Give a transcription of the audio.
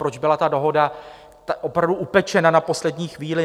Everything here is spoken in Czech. Proč byla ta dohoda opravdu upečena na poslední chvíli?